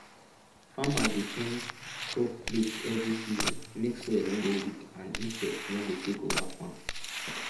farmers dey change crop place every season make soil no go weak and insects no go take over farm